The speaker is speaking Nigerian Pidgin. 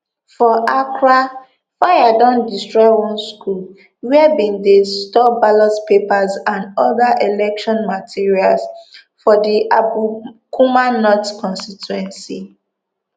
for accra fire don destroy one school wia bin dey store ballot papers and oda election materials for di ablekuma north constituency